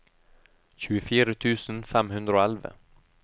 tjuefire tusen fem hundre og elleve